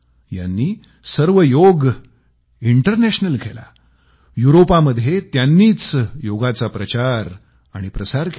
यांनी सर्व योग इंटरनॅशनल ची सुरवात केली आणि पूर्ण यूरोपमध्ये त्यांनीच योगाचा प्रचार आणि प्रसार केला